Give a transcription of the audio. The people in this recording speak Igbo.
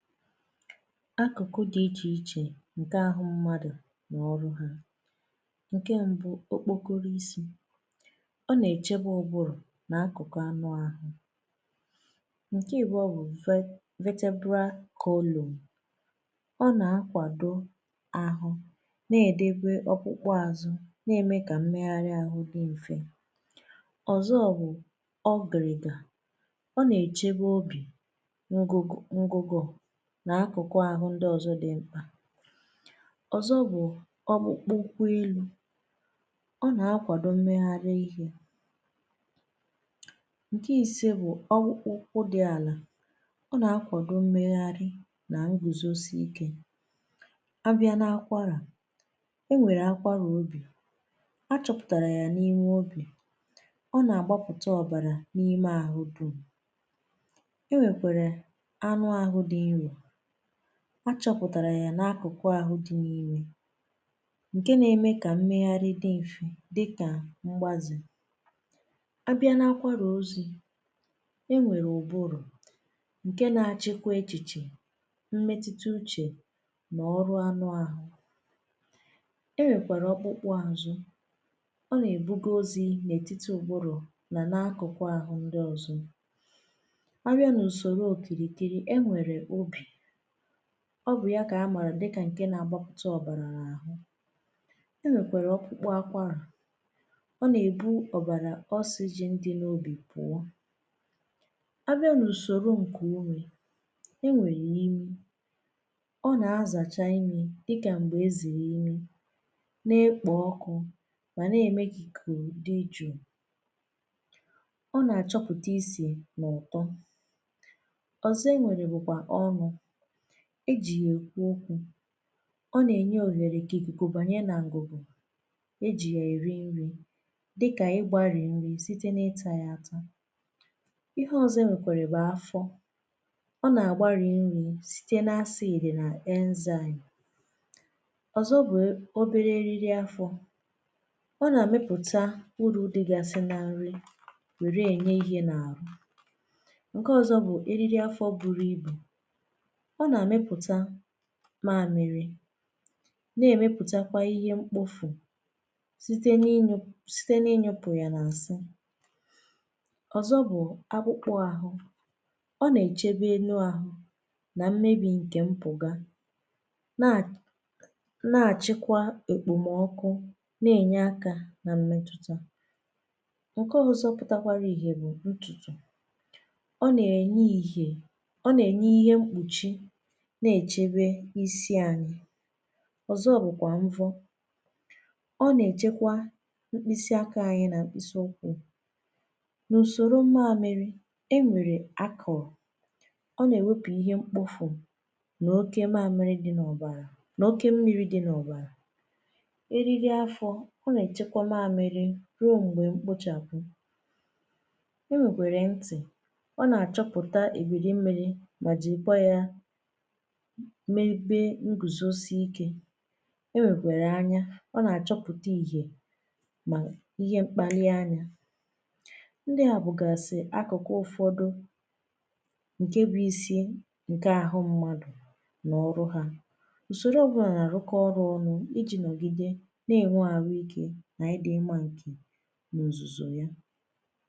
Akụ̀kụ̀ di Iche Ichè Nkè Ahụ̀ Mmadụ̀ nà Ọrụ Ha: Nke mbụ, okpokoro isi̇: ọ nà-èchebe ụbụrụ̀ n’akụ̀kụ̀ anụ̀ ahụ̀. Nke ịbụọ bụ, Ve vetebra column: ọ nà-akwàdo ahụ́ na-èdèbe ọkpụkpụ àzụ̀ na-ème kà mmeghàrị̀ ahụ̀ di mfè. Ọzọ bụ ọgìrìgà: ọ nà-èchebe obì, ngugò, n’akụkụ̀ ahụ̀ ndi ọzọ̀ dị ṁkpà. Ozọ bụ: ọkpụkpụ kwị́lú: ọ na-akwadọ̀ mmegharị̀ ihe. nke ise bụ ọkpụkpụ dị alà: ọ na-akwadọ̀ mmegharị̀ na nguzosì ike. Abịa na-akwarà, e nwere akwarà obì, achọpụtarà yà n’ime obì. Ọ na-agbapụtà ọbarà n’ime ahụ̀ dum̀. E nwekwere anụ ahụ̀ dị̀ nro, a chọpụ̀tarà yà n’akụ̀kụ̀ ahụ̀ dị̀ n’imè nkè na-emè kà mmeghàrị̀ dị̀ mfè dịkà mgbàzù. A bịà n’akwàrà ozì, e nwerè ụ́bụ́rụ̀, nkè na-achịkwà echichè, mmetụtụ uchè n'ọrụ̀ anụ̀ ahụ̀. E nwèkwàrà ọkpụ̀kpụ̀ àzụ̀, ọ nà-èbugo ozì n’ètitì ụ̀bụ̀rụ̀ nà n’akụ̀kụ̀ ahụ̀ ndị ọzọ̀. Abịa n'usòrò okirìkìrì, e nwerè obì. Ọ bụ̀ yà kà amà dịkà nkè na-agbàpụ̀tà ọ̀bàrà n’àhụ. E nwèkwàrà ọkụkpụ akwàrà, ọ nà-èbu ọ̀bàrà oxygen dị̇ n’obi̇ pụ̀ọ. Abịa n’ùsòrò ǹkè umè e nwèrè imi ọ nà-azàcha imi dịkà m̀gbè ezìrì imi, na-ekpò ọkụ̇ mà nà-ème k'ikùku dị jụụ. Ọ nà-achọpụ̀ta ị́sị̀ na ụ̀tọ́. Ọzọ e nwèrè bụ̀kwà ọnụ̇, e ji̇ ya e kwu okwù, ọ na-enye ohere kà ikùkù banyẹ̇ nà ngụgụ, e jì ya èrị nrị̇ dịkà igbàri nrị̇ site n’ịtà ya atȧ. Ihe ọzọ̇ e nwekwàrà bụ afọ̇, ọ na-agbari nrị̇ site na acid nà enzyme. Ọzọ́ bụ̀ obere eriri afọ̇, ọ na-amịpụta uru dịgàsị̇ na nrị̇ were enye ihe n’àhụ́. Nke ọzọ̇ bụ̀ eriri afọ̇ buru ibu̇, ọ na-amịpụtà mamịrị̀, na-emeputàkwà ihe mkpofù sitė n’ịnyụpụ sitė n’inyụpụ yà nà nsị̀. Ọ́zọ́ bụ̀ akpụkpò ahụ́, ọ na-echebè elu̇ ahụ̀ na mmebì nke mpụ̀gà na na-achịkwà ekpomọkụ̀, na-enye akà na mmetụtà. Nke ọzọ́ pụtakwarà ihe bụ̀ ntutù, ọ na-enye ihe ọ na-enye ihe mkpùchì na-echebe isi anyị̀. Ọzọ́ bụkwà mvọ̀, ọ na-echekwà mkpịsị aka anyị̀ nà mkpịsị ụkwụ. N'usorò mamịrị, e nwerè akọ̀ọ̀, ọ na-ewepụ̀ ihe mkpofù na oke mamịrị̀ dị n'ọbàrà na oke mmiri dị n’ọbàrà. Erirì afọ́, ọ na-echekwà mamịrị̀ ruo ṁgbè nkpochapụ. E nwekwerè ntị̀, ọ na-achọ̀pụ̀tà ebirì mmiri̇ mà jìri kwá yá mee ebè ngùzosì ike. E nwekwerè anya ọ na-achọ̀pụtà ìhè ma ihe ṁkpàlì anya. Ndị à bụ̀gasì akụ̀kụ̀ ụfọdụ̀ nkè bụ̀ isi nkè ahụ̀ mmadụ̀ n’ọrụ̀ ha. Usorò ọbụlà na-árụ́kọ́ ọ́rụ́ ọ́nụ́, i jì nọ̀gidè na-enwè arụ̀ ike na ịdị̀ mma ǹkè ozùzò yà."